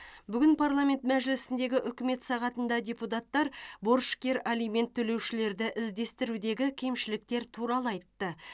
бүгін парламент мәжілісіндегі үкімет сағатында депуттар борышкер алимент төлеушілерді іздестірудегі кемшіліктер туралы айтты